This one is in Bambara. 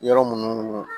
Yɔrɔ minnu